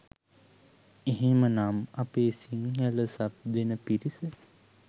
එහෙමනම් අපේ සිංහල සබ් දෙන පිරිස